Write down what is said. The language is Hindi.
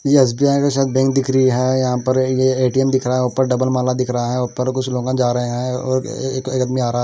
एस_ बी_ आई_ की शायद बैंक दिख रही है यहाँ पर ये ए_ टी_ एम_ दिख रहा है ऊपर डबल माला दिख रहा है ऊपर कुछ लोग अ जा रहे हैं और ए एक आदमी आ रहा है।